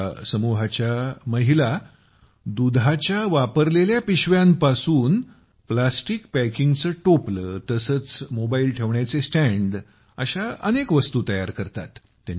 या समूहाच्या महिला दुधाची पिशवी आणि दुसर्या हातात प्लॅस्टिक पॅकिंगचे टोपले तसेच मोबाईल ठेवण्याचे स्टँड अशा अनेक वस्तु तयार करतात